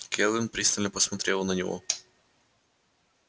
кэлвин пристально посмотрела на него